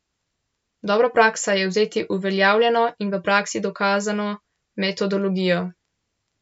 Dobra praksa je vzeti uveljavljeno in v praksi dokazano metodologijo.